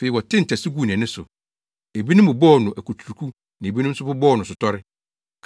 Afei wɔtee ntasu guu nʼani so. Ebinom bobɔɔ no akuturuku na ebinom nso bobɔɔ no asotɔre